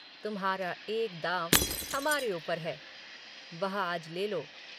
तुम्हारा एक दाँव हमारे ऊपर है। वह आज लेलो